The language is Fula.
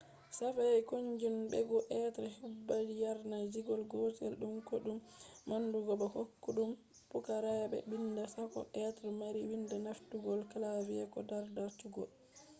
shafi koykinjo hebugo be hudba yanar gizo gotel dum koydum manndugo bo koydum pukaraabe bidda sakko be mari wida nafturungo keyboard ko dardarsugo